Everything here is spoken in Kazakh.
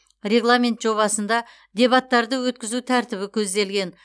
регламент жобасында дебаттарды өткізу тәртібі көзделген